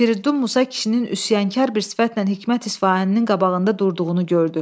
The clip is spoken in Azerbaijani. Firiddun Musa kişinin üsyankar bir sifətlə Hikmət İsfahaninin qabağında durduğunu gördü.